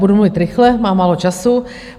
Budu mluvit rychle, mám málo času.